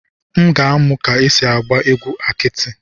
M ga-amụ ka esi agba egwu akiti.